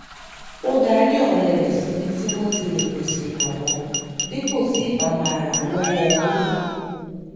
ó darí ọrẹ síbi tí wọn ti lè pèsè ìrànwọ dípò tí ì bá máa ràn án lọwọ owó